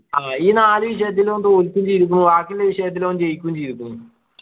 ആഹ് ഈ നാല് വിഷയത്തിലും ഓൻ തോൽക്കു ചെയ്തിക്ക്ണു ബാക്കിയുള്ള വിഷയത്തിൽ ഓൻ ജയിക്കും ചെയ്തിക്ക്ണു